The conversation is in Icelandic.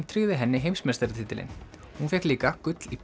tryggði henni heimsmeistaratitilinn hún fékk líka gull í